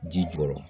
Ji jukɔrɔ